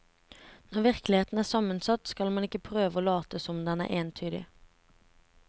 Når virkeligheten er sammensatt skal man ikke prøve å late som om den er entydig.